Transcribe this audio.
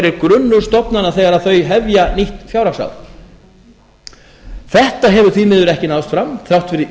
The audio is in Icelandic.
er grunnur stofnana þegar þær hefja nýtt fjárhagsár þetta hefur því miður ekki náðst fram þrátt fyrir